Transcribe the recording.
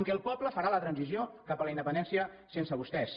que el poble farà la transició cap a la independència sense vostès